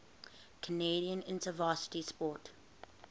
canadian interuniversity sport